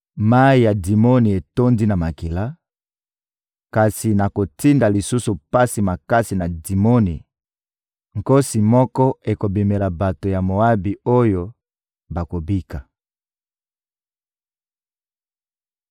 Mayi ya Dimoni etondi na makila, kasi nakotinda lisusu pasi makasi na Dimoni: nkosi moko ekobimela bato ya Moabi oyo bakobika.